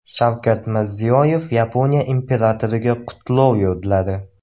Shavkat Mirziyoyev Yaponiya imperatoriga qutlov yo‘lladi.